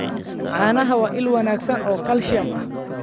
Caanaha waa il wanaagsan oo kalsiyum ah.